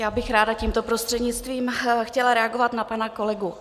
Já bych ráda tímto prostřednictvím chtěla reagovat na pana kolegu.